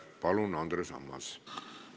Palun, Andres Ammas!